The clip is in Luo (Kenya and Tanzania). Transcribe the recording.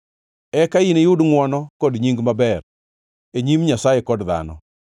Eka iniyud ngʼwono kod nying maber e nyim Nyasaye kod dhano.